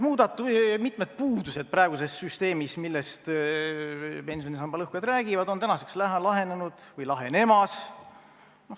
Mitmed praeguse süsteemi puudused, millest pensionisamba lõhkujad räägivad, on tänaseks lahenenud või lahenemas.